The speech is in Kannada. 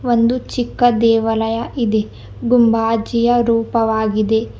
ಒಂದು ಚಿಕ್ಕ ದೇವಾಲಯ ಇದೆ ಗುಂಬಾಜಿಯ ರೂಪವಾಗಿದೆ.